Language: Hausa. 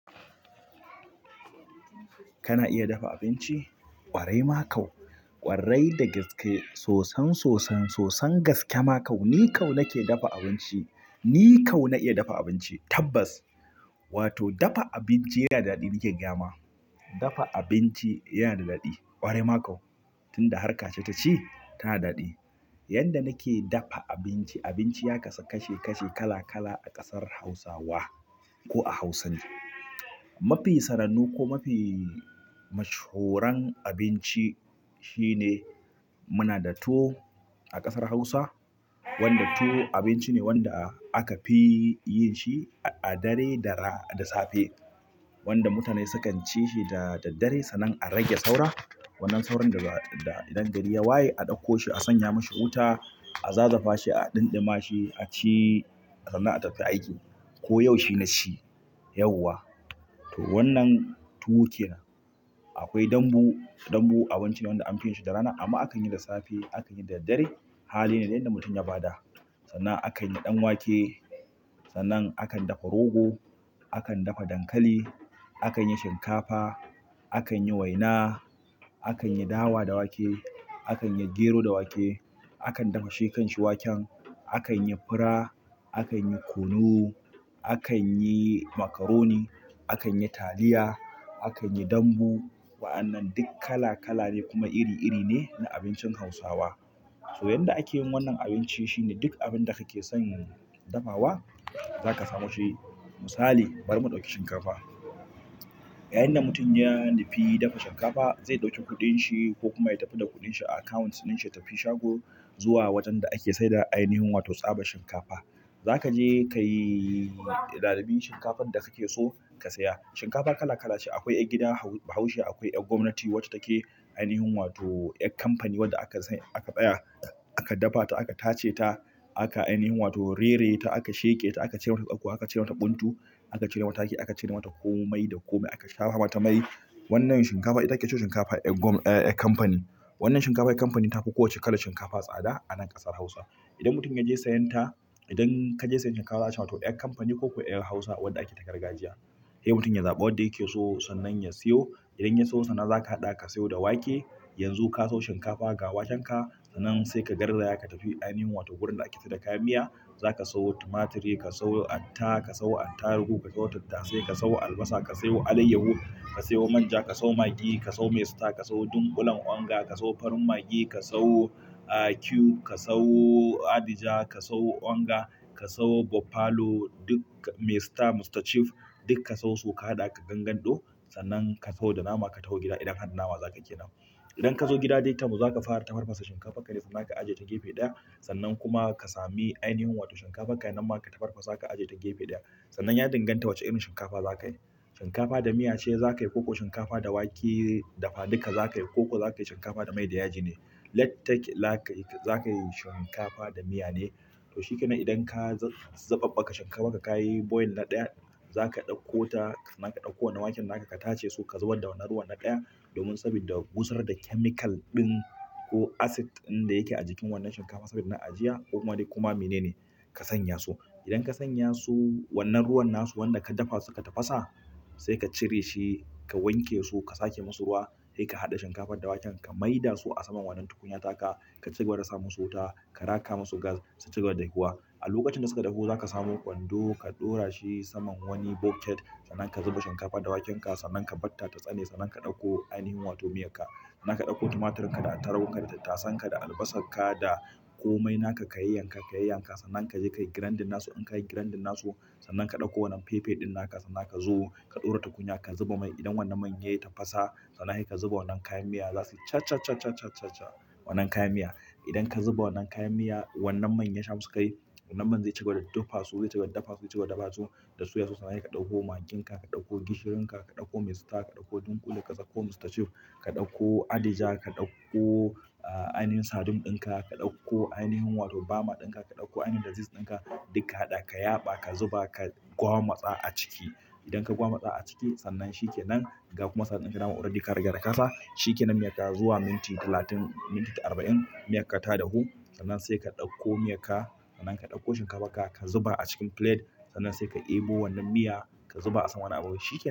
Kana iya dafa abinci? Ƙwarai ma kau. Ƙwarai da gaske. Sosan sosan sosan gaske ma kau. Ni kau nake dafa abinci. Ni kau na iya dafa abinci tabbas. Wato dafa abinci yana da daɗi nike gayama. Dafa abinci yana da daɗi. Ƙwarai ma kau. Tun da harka ce ta ci, tana daɗi. Yadda nake dafa abinci, abinci ya kasu kashi-kashi kala-kala a ƙasar Hausawa ko a Hausa ne. Mafi sannannu ko mafi mashahuran abinci shine muna da tuwo a ƙasar hausa wanda tuwo abinci ne wanda aka fi yinshi a dare da ra-- da safe. Wanda mutane sukan ci shi da daddare sannan a rage saura. Wannan sauran daga da idan gari ya waye a ɗauko shi a sanya mashi wuta, a zazafa shi, a ɗinɗima shi, a ci, a sanna a tafi aiki. Ko yau shi na ci yauwa. To wannan tuwo ke nan. Akwai dambu dambu abincine wanda akayishi da rana amma akanyi da safe akanyi da daddare. Hali ne da yadda mutum ya ba da. Sannan a kan yi ɗan wake, sannan a kan dafa rogo, a kan dafa dankali, a kan yi shinkafa, a kan yi waina, a kan yi dawa da wake, a kan yi gero da wake, a kan dafa shekan shi waken, a kan yi fura, a kan yi kunu, a kan yi macaroni, a kan yi taliya, a kan yi dambu. Wa'annan duk kala kala ne kuma iri iri ne na abincin Hausawa. To yanda ake yin wannan abinci shine duk abin da kake son dafawa, za ka samo shi. Misali bari mu ɗauki shinkafa. Yayinda mutum yanu fi dafa shinkafa, zai ɗauki kuɗin shi ko kuma ya tafi da kuɗin shi a akawunt ɗin shi ya tafi shago zuwa wajen da ake saida ainihin wato tsabar shinkafa. Za ka je ka yi zaɓen shinkafar da kake so ka saya. Shinkafa kala kala ce. Akwai ƴar gida bahaushe, akwai ƴar gwamnati wacce take ainihin wato ƴar kamfani wadda aka sai-- aka tsaya, aka dafa ta, aka tace ta, aka ainihin wato rere ta, aka sheƙe ta, aka cere mata tsakkuwa, aka cere mata kuntu, aka cere mata haki, aka cere mata komai da komai aka shahwa mata mai. Wannan shinkafa ita ake cema shikafa yar kamfani. Wannan shinkafar kamfani tafi kowace kalar shinkafa tsada anan akasar hausa. Idan mutum yaje sayenta, idan kaje sayen shinkahwa za'a cema to yar kamfani koko yar hausa wadda ake ta gargajiya. Sai mutum ya zaɓi wadda yake so, sannan ya siyo idan ya siyo sannan zaka haɗawa ka siyo da wake yanzu ka sayo shinkafa ga waken ka sannan sai ka garzaya ka tafi ainahin wato wurin da ake sai da kayan miya zaka sawo tumaturi ka sawo atta ka sawo attarigu ka sawo tattasai ka sawo albasa ka sayo alayyahu ka sayo manja ka sawo magi ka sawo mai star ka sawo dunkulen onga ka sawo farin magi ka sawo ah, cube, ka sayo adija, ka sayo onga, ka sayo buffalo, duk maistar, Mr. Chief duk ka sayo su ka haɗa ka gangando. Sannan ka sawo da nama ka taho gida idan ka har da nama zakayi ƙenan. Idan ka zo gida ɗai ta baza ka fara tafarfasa shinkafarka ne sannan ka ajiye ta gefe ɗaya. Sannan kuma ka sami ainihin wato shinkafarka nan ma ka tafarfasa ka ajiye ta gefe ɗaya. Sannan ya dinganta wace irin shinkafa za ka yi. Shinkafa da miya ce za ka yi ko shinkafa da wake dafa duka za ka yi ko za ka yi shinkafa da mai da yaji ne. Let take lak za ka yi shinkafa da miya ne. To shi ke nan idan ka za-zabaɓɓaka shinkafa ka ka yi boil na ɗaya, za ka ɗauko ta sannan ka ɗauko wannan waken naka ka tace su ka zubar da wannan ruwan na ɗaya. Domin sabidda gusar da chemical ɗin ko acid ɗin da yake ajikin wannan shinkafar saboda na ajiya ko kuma dai koma menene kasanyasu. Idan ka sanyasu wannan ruwan nasu wanda ka dafa suka tafasa sai ka cireshi ka wanke su ka sake musu ruwa sai ka haɗa shinkafar da waken ka mai dasu asaman wannan tukunyar taka ka cigaba da sa musu wuta ka raka musu gas su cigaba da dahuwa a lokacin da suka dahu zaka samo kwando ka dorashi saman wani bucket sannan ka zuba shinkafar da waken ka sannan ka batta ta tsane sannan ka ɗauko ainahin wato miyarka. Sannan ka ɗauko tumaturinka da attaruhunka da tattasan ka da albasarka da komai naka ka yanka ka yanka sannan ka je ka yi grandin nasu. In ka yi grandin nasu sannan ka ɗauko wannan fefe ɗin naka sannan ka zo ka ɗora tukunya ka zuba mai. Idan wannan man ya yi tafasa sannan sai ka zuba wannan kayan miya za su cha cha cha cha cha cha cha wannan kayan miya. Idan ka zuba wannan kayan miya wannan man ya shamu kai, wannan man zai cigaba da daffa su, zai cigaba daffa su, zai cigaba daffa su da suya su sannan sai ka ɗauko magin ka, ka ɗauko gishirin ka, ka ɗauko maisita, ka ɗauko dunƙule, ka ɗauko Mr. Chief, ka ɗauko adija, ka ɗauko, ah, ainihin sardin ɗinka, ka ɗauko ainihin wato bama ɗinka, ka ɗauko ainihin da ziz ɗinka duk ka haɗa ka yaba ka zuba ka gwamatsa a ciki. Idan ka gwamatsa a ciki sannan shi ke nan ga kuma saɗin kai nama waɗanda ka riga da ƙasa shi ke nan miyar ka zuwa minti talatin, minti arba'in, miyar ka ta dahu. Sannan sai ka ɗauko miyar ka, sannan ka ɗauko shinkafar ka ka zuba a cikin plate sannan sai ka ɗebo wannan miya ka zuba a saman abinci shi ke nan.